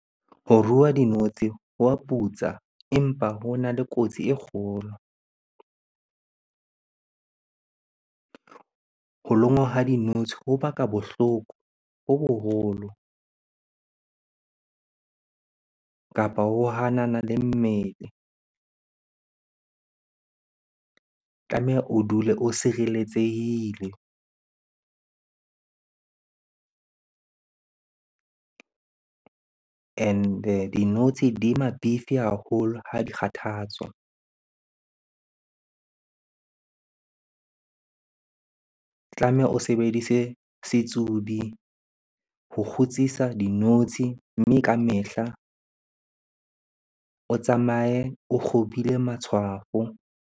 Ho rua dinotshi ho wa putsa, empa ho na le kotsi e kgolo. Ho lonngwa ha dinotshi ho baka bohloko bo boholo kapa ho hanana le mmele. O tlameha o dule o sireletsehile and-e dinotshi di mabifi haholo ha di kgathatswa. Tlameha o sebedise setsubi ho kgutsisa dinotshi, mme kamehla o tsamaye o kgobile matshwafo.